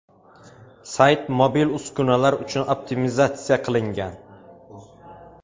Sayt mobil uskunalar uchun optimizatsiya qilingan.